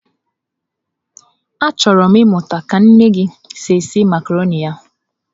Achọrọ m ịmụta ka nne gị si esi macarọnị ya.